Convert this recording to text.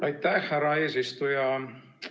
Aitäh, härra eesistuja!